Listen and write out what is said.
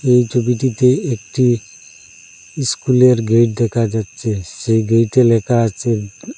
এই ছবিটিতে একটি ইস্কুলের গেট দেখা যাচ্ছে সেই গেটে লেখা আছে--